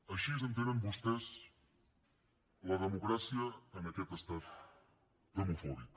així entenen vostès la democràcia en aquest estat demofòbic